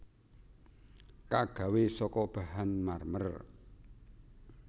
Kagawé saka bahan marmer